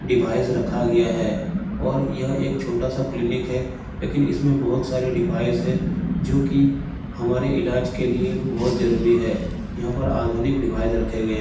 Device रखा गया है और यह एक छोटा सा क्लीनिक है । लेकिन इसमें बहुत सारे डिवाइस है जो कि हमारे इलाज के लिए बहुत जरूरी है । यहाँ पर आधुनिक डिवाइस रखे गए --